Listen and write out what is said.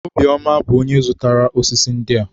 Obiọma bụ onye zụrụtara ósísí ndị a.